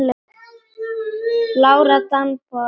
Lára Dan. Bára mín.